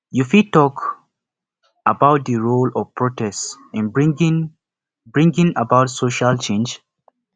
you fit talk about di role of protest in bringing bringing about social change